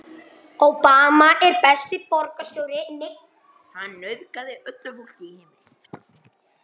Thomas hlammaði sér á rúmstokkinn og reyndi að ná áttum.